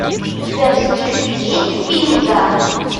у тебя в списке есть фильм дар